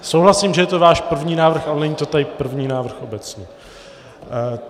Souhlasím, že je to váš první návrh, ale není to tady první návrh obecně.